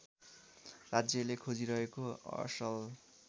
राज्यले खोजिरहेको असल